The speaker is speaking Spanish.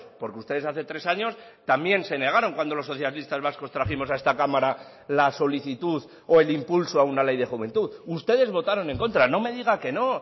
porque ustedes hace tres años también se negaron cuando los socialistas vascos trajimos a esta cámara la solicitud o el impulso a una ley de juventud ustedes votaron en contra no me diga que no